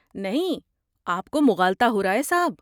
نہیں، آپ کو مغالطہ ہو رہا ہے صاحب۔